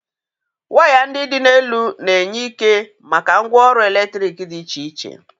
Waya ndị dị n'elu na-enye ike maka ngwaọrụ eletrik dị iche iche.